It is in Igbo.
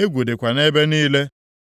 egwu dịkwa nʼebe niile.